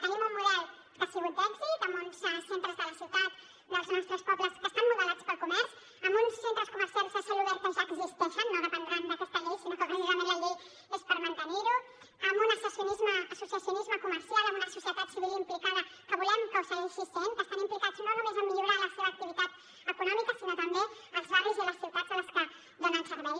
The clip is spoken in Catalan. tenim un model que ha sigut d’èxit amb uns centres de la ciutat dels nostres pobles que estan modelats pel comerç amb uns centres comercials a cel obert que ja existeixen no dependran d’aquesta llei sinó que precisament la llei és per mantenir ho amb un associacionisme comercial amb una societat civil implicada que volem que ho segueixi sent que estan implicats no només a millorar la seva activitat econòmica sinó també els barris i les ciutats a les que donen servei